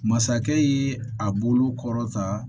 Masakɛ ye a bolo kɔrɔ ta